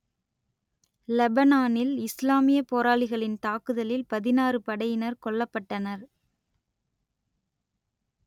லெபனானில் இசுலாமியப் போராளிகளின் தாக்குதலில் பதினாறு படையினர் கொல்லப்பட்டனர்